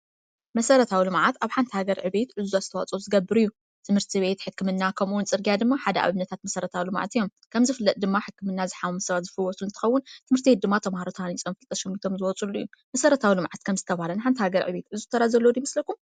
መሠረታዊሉ ልማዓት ኣብ ሓንቲ ሃገር ዕቤየት እዙዝ ኣስተዋጾት ዝገብር እዩ ትምህርቲ ቤት ሕክምና ኸምኡውን ጽርግያ ድማ ሓደ ኣብነታት መሠረታውሉ ማዓት እዮም ከምዝ ፍለጥ ድማ ሕክምናዝኃምሙሰባት ዝፈወሱ ንትኸውን ትምህርቲየ ድማ ተምሃሮታንጸምፍልተሸምቶም ዝወጹሉ እዩ መሠረታው ሉ መዓት ከም ዝተብሃለን ሓንቲ ሃገር ዕቤት እዙ ተራዘለዱ ይምስለኩም?